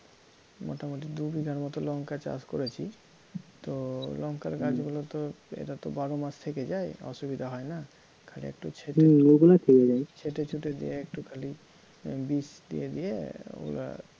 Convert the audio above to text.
মোটামুটি দু বিঘার মতো লঙ্কা চাষ করেছি তো লঙ্কার গাছগুলো তো এরা তো বারো মাস থেকে যায় অসুবিধা হয় না হম ওগুলো থেকে যায়, ছেঁটে ছুটে দিয়ে একটু খালি বীজ দিয়ে দিয়ে ওরা